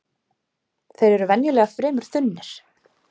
Þeir eru venjulega fremur þunnir